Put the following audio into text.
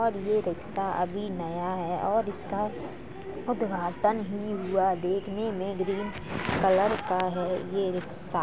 और ये रिक्शा अभी नया है और इसका उद्घाटन ही हुआ। देखने में ग्रीन कलर का है ये रिकशा ।